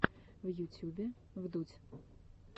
в ютюбе вдудь